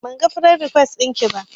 Banga firend rikwes ɗinki ba